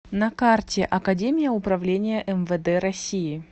на карте академия управления мвд россии